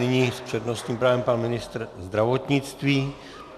Nyní s přednostním právem pan ministr zdravotnictví.